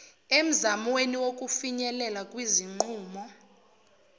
emzamweni wokufinyelela kwizinqumo